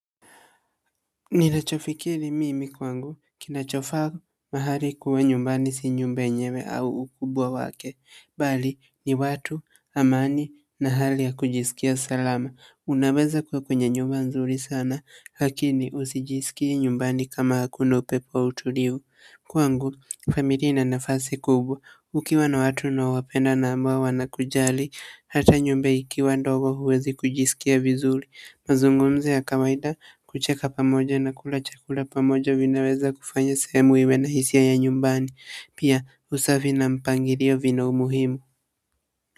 Ninachofikiri mimi kwangu, kinachofaa mahali kuwa nyumbani si nyumba yenyewe au ukubwa wake, bali ni watu, amani na hali ya kujisikia salama. Unaweza kuwa kwenye nyumba nzuri sana, lakini husijisikii nyumbani kama hakuna upepo au utulivu. Kwangu, familia ina nafasi kubwa. Ukiwa na watu unaowapenda na ambao wanakujali, hata nyumba ikiwa ndogo huwezi kujisikia vizuri. Mazungumzo ya kawaida, kucheka pamoja na kula chakula pamoja vinaweza kufanya sehemu iwe na hisia ya nyumbani. Pia usafi na mpangilio vina umuhimu.